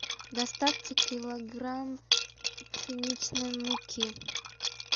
доставьте килограмм пшеничной муки